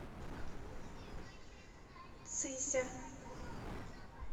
цися